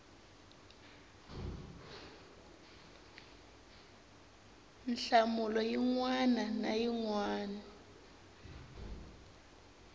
nhlamulo yin wana na yin